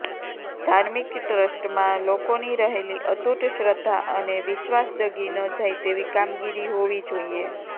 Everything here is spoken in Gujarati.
ધાર્મિક ટ્રસ્ટમાં લોકોની રહેલી અતૂટ શ્રદ્ધા અને વિશ્વાસ ડગી ન જાય તેવી કામગીરી હોવી જોઈએ